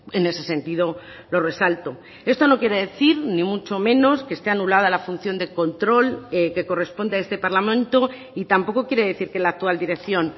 en ese sentido lo resalto esto no quiere decir ni mucho menos que esté anulada la función de control que corresponde a este parlamento y tampoco quiere decir que la actual dirección